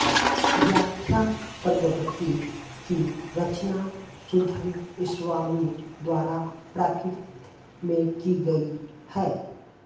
व्याख्याप्रज्ञप्ति की रचना सुधर्मस्वामी द्वारा प्राकृत में की गयी है